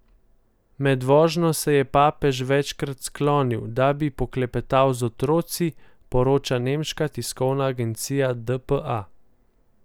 Med vožnjo se je papež večkrat sklonil, da bi poklepetal z otroki, poroča nemška tiskovna agencija dpa.